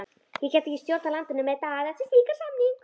Ég gæti ekki stjórnað landinu með Daða eftir slíkan samning.